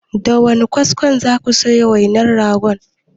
Da wane kaskon za ku soya wainar rogon?